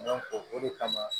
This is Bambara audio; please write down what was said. o de kama